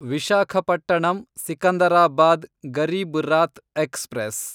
Visakhapatnam Secunderabad Garib Rath express